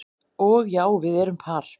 Og já, við erum par